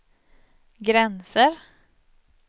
gränser